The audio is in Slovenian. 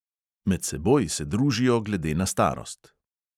Med seboj se družijo glede na starost.